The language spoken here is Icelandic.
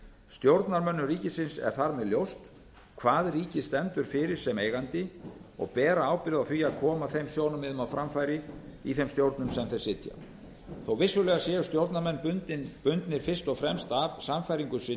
stjórnarmönnum ríkisins er þar með ljóst hvað ríkið stendur fyrir sem eigandi og bera ábyrgð á því að koma þeim sjónarmiðum á framfæri í þeim stjórnum sem þeir sitja þó vissulega séu stjórnarmenn bundnir fyrst og fremst af sannfæringu